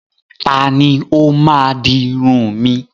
Ta ni ó máa di irun mi?